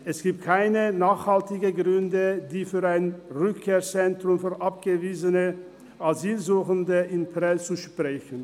es gibt keine nachhaltigen Gründe, die für ein Rückkehrzentrum für abgewiesene Asylsuchende in Prêles sprechen.